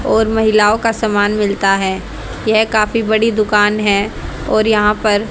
और महिलाओ का समान मिलता है यह काफी बड़ी दुकान है और यहां पर--